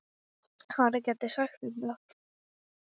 Skilja eftir sig bleytu.